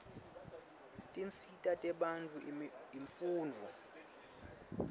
tinsita tebantfu imfundvo